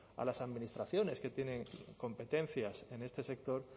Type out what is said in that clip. a las administraciones que tienen competencias en este sector